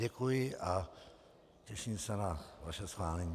Děkuji a těším se na vaše schválení.